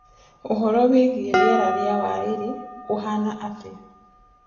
uhoro wĩĩgĩe rĩera wa waĩrĩ uhana atia